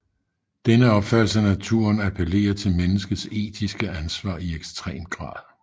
Denne opfattelse af naturen appellerer til menneskets etiske ansvar i ekstrem grad